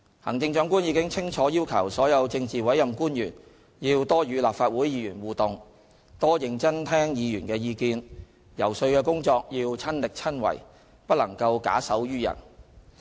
行政長官已清楚要求所有政治委任官員要多與立法會議員互動，多認真聽議員的意見，遊說的工作要親力親為，不能夠假手於人。